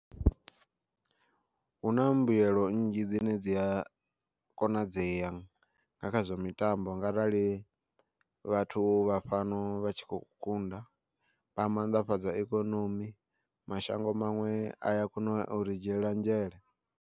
Huna mbuyelo nnzhi dzine dzi a konadzea nga kha zwa mitambo nga arali vhathu vha fhano vha tshi kho kunda, vha mannḓafhadza ikonomi mashango maṅwe a ya kona uri dzhiela nzhele.